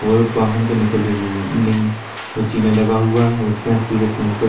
और बाहनो को निकलने के लिए नीं व चीना लगा हुआ है उसके यहाँ सीधा सैंपल --